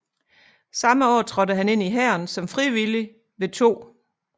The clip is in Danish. Samme år trådte han ind i Hæren som frivillig ved 2